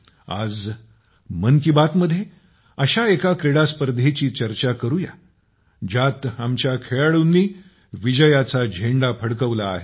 आज मन ती बात मध्य़े अशा एका क्रीडास्पर्धेची चर्चा करू या की ज्यात आपल्या खेळाडूंनी विजयाचा झेंडा फडकवला आहे